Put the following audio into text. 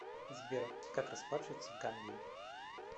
сбер как расплачиваться в гамбии